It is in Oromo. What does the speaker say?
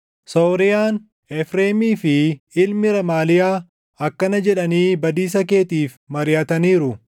Sooriyaan, Efreemii fi ilmi Remaaliyaa akkana jedhanii badiisa keetiif mariʼataniiru;